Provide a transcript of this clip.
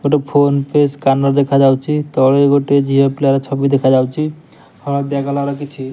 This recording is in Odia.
ଗୋଟେ ଫୋନ୍ ପେ ସ୍କାନର୍ ଦେଖା ଯାଉଚି। ତଳେ ଗୋଟେ ଝିଅ ପିଲାର ଛବି ଦେଖା ଯାଉଚି। ହଳଦିଆ କଲର୍ କିଛି --